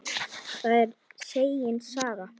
Það er segin saga.